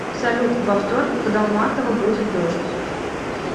салют во вторник в долматова будет дождь